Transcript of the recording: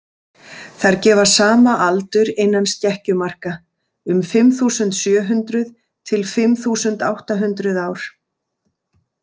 Þær gefa sama aldur innan skekkjumarka, um fimm þúsund sjö hundruð til fimm þúsund átta hundruð ár.